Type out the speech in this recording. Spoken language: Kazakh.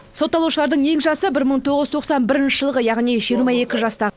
сотталушылардың ең жасы бір мың тоғыз жүз тоқсан бірінші жылғы яғни жиырма екі жаста